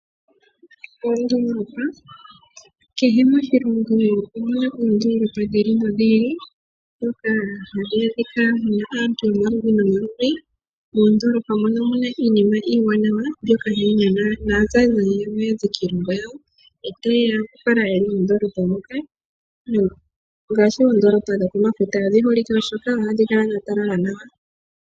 Oondolopa, kehe moshilongo omuna oondolopa dhi ili nodhi ili dhoka hadhi adhika una aantu yomaludhi nomaludhi. Moondolopa mono omuna iimina iiwanawa mbyoka hayi nana na zayi zayi ya ze kiilongo yawo etaye ya yakale yeli moondolopa moka ngashi oondolopa dhokomafuta odhi holike molwashoka ohadhi kala dha talala nawa.